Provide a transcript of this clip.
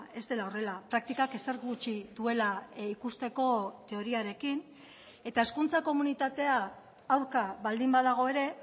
ez dela horrela praktikak ezer gutxi duela ikusteko teoriarekin eta hezkuntza komunitatea aurka baldin badago ere